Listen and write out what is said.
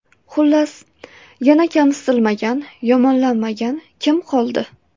Xullas, yana kamsitilmagan, yomonlanmagan kim qoldi?